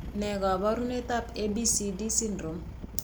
Ne kaabarunetap ABCD syndrome?